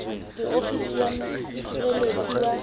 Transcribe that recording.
le ofisi ya mosireletsi wa